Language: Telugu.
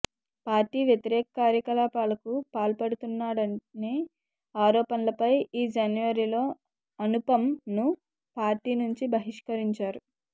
పార్టీ వ్యతిరేక కార్యకలాపాలకు పాల్పడుతున్నాడనే ఆరోపణలపై ఈ జనవరిలో అనుపమ్ ను పార్టీ నుంచి బహిష్కరించారు